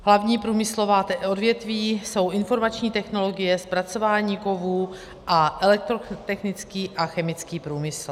Hlavní průmyslová odvětví jsou informační technologie, zpracování kovů a elektrotechnický a chemický průmysl.